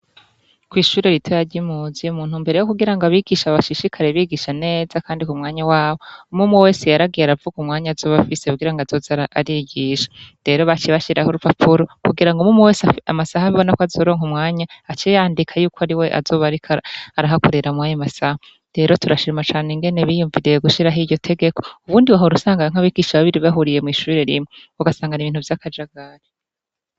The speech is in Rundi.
Kw'ishuri ritoya ry'impuzi mu ntumbero ryo kugira ngo abigisha bashishikare bigisha neza kandi ku mwanya wabo umwumwe wese yaragiye aravuga umwanya azoba afise kugira ngo azoze arigisha, rero baciye bashiraho urupapuro kugira ngo umwumwe wese amasaha abona ko azoronka umwanya ace yandika yuko ari we azoba ariko arahakorera mw'ayo masaha, rero turashima cane ingene biyumviriye gushiraho iryo tegeko ubundi wahora usanga nk'abigisha babiri bahuriye mw'ishure rimwe ugasanga n'ibintu vy'akajagari.